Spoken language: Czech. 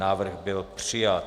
Návrh byl přijat.